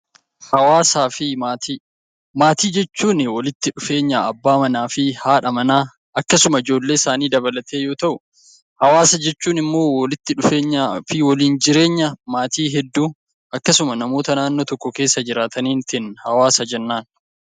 Maatii jechuun walitti dhufeenya abbaa manaa fi haadha manaa akkasuma ijoollee isaanii dabalatee yoo ta'u, hawaasa jechuun immoo walitti dhufeenyaa fi waliin jireenya maatii hedduu akkasuma namoota naannoo tokko keessa jiraataniitiin hawaasa jennaan.